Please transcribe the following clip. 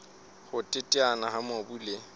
ho teteana ha mobu le